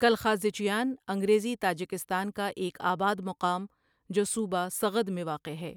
کالخازچیان انگریزی تاجکستان کا ایک آباد مقام جو صوبہ سغد میں واقع ہے ۔